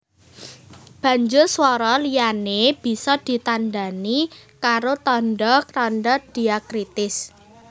Banjur swara liyané bisa ditandhani karo tandha tandha dhiakritis